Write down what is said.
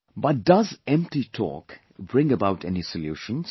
But does empty talk bring about any solutions